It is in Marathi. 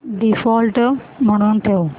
डिफॉल्ट म्हणून ठेव